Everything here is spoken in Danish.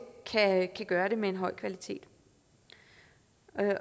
kan gøre det med en høj kvalitet